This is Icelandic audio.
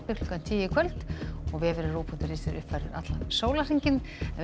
klukkan tíu í kvöld og vefurinn rúv punktur is er uppfærður allan sólarhringinn en við